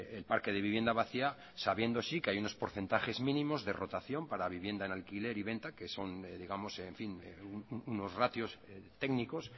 el parque de vivienda vacía sabiendo sí que hay unos porcentajes mínimos de rotación para vivienda en alquiler y venta que son digamos en fin unos ratios técnicos